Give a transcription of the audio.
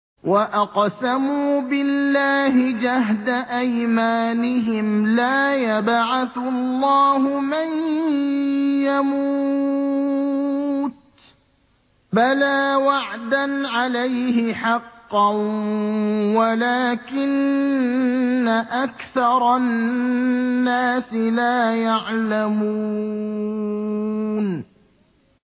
وَأَقْسَمُوا بِاللَّهِ جَهْدَ أَيْمَانِهِمْ ۙ لَا يَبْعَثُ اللَّهُ مَن يَمُوتُ ۚ بَلَىٰ وَعْدًا عَلَيْهِ حَقًّا وَلَٰكِنَّ أَكْثَرَ النَّاسِ لَا يَعْلَمُونَ